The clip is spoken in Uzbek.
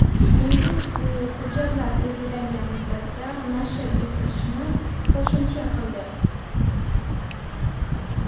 Shuningdek, u hujjatlar belgilangan muddatda nashr etilishini qo‘shimcha qildi.